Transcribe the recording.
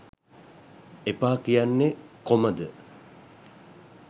එපා කියන්නේ කොමද